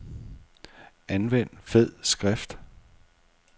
Anvend fed skrift.